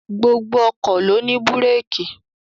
Gbogbo ọkọ̀ ló ní búrékì